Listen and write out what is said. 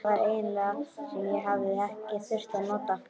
Þetta var eiginleiki sem ég hafði ekki þurft að nota.